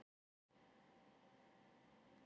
Agatha, hvernig er veðurspáin?